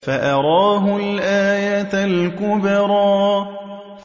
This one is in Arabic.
فَأَرَاهُ الْآيَةَ الْكُبْرَىٰ